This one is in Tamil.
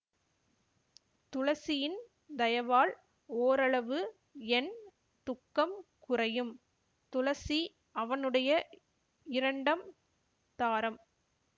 துளசியின் தயவால் ஓரளவு என் துக்கம் குறையும் துளசி அவனுடைய இரண்டம் தாரம்